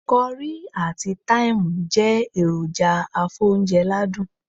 Currie àti Time jé èròjà afóúnje ládùn